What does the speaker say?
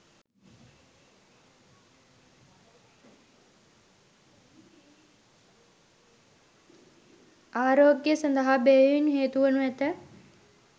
ආරෝග්‍ය සඳහා බෙහෙවින්ම හේතුවනු ඇත.